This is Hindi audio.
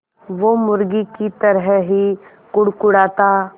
वो मुर्गी की तरह ही कुड़कुड़ाता